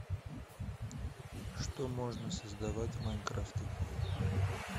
что можно создавать в майнкрафте